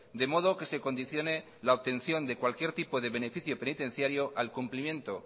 de modo que se condicione la obtención de cualquier tipo de beneficio penitenciario al cumplimiento